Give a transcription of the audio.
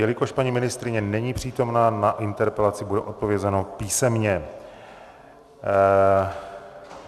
Jelikož paní ministryně není přítomná, na interpelaci bude odpovězeno písemně.